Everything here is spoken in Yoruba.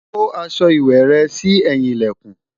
kò aṣọ ìwé rè sí ẹyin ilẹkùn